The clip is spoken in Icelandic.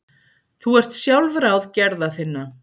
Þú ert sjálfráð gerða þinna.